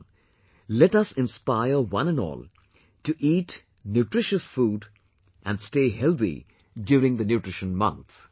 Come, let us inspire one and all to eat nutritious food and stay healthy during the nutrition month